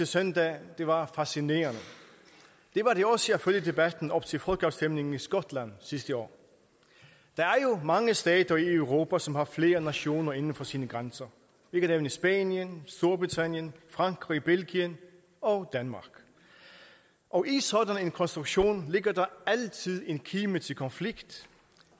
søndag var fascinerende det var det også at følge debatten op til folkeafstemningen i skotland sidste år der er jo mange stater i europa som har flere nationer inden for sine grænser vi kan nævne spanien storbritannien frankrig belgien og danmark og i sådan en konstruktion ligger der altid et kim til konflikt